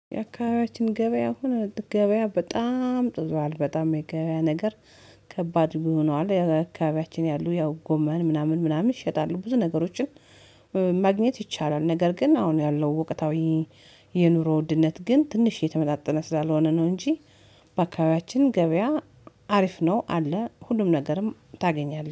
የአካባቢያችን ገበያ አሁን ገበያ በጣም ጦዟል በጣም የገበያ ነገር ከባድ ቢሆነው አካባቢያችን ያሉ ያው ጎመን ምናምን ምናምን ይሸጣሉ ብዙ ነገሮችን ማግኘት ይቻላል። ነገር ግን አሁን ያለው ወቀታዊ የኑሮ ውድነት ግን ትንሽ የተመጣጠነ ስላልሆነ ነው እንጂ በአካባቢያችን ገበያ አሪፍ ነው አለ ሁሉም ነገርም ታገኛለህ።